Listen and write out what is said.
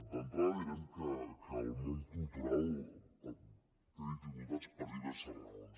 d’entrada direm que el món cultural té dificultats per diverses raons